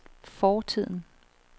fortiden